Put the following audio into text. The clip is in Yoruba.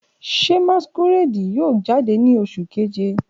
Ṣe masquerade yoo jade ni Oṣu Keje?